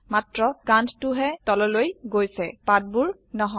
মাত্ৰ কান্ড টোহে তললৈ গৈছে পাতবোৰ নহয়